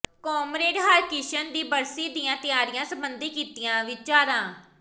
comrade Harkrishan ਦੀ ਬਰਸੀ ਦੀਆਂ ਤਿਆਰੀਆਂ ਸਬੰਧੀ ਕੀਤੀਆਂ ਵਿਚਾਰਾਂ